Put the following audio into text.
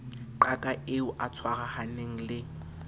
qaka eo a tshwarahaneng le